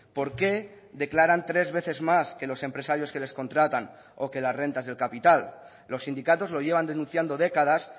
por qué declaran tres veces más que los empresarios que les contratan o que las rentas del capital los sindicatos lo llevan denunciando décadas